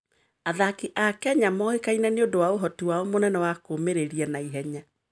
Athaki a Kenya moĩkaine nĩ ũndũ wa ũhoti wao mũnene wa kũũmĩrĩria na ihenya.